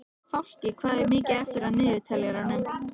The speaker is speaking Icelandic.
Fálki, hvað er mikið eftir af niðurteljaranum?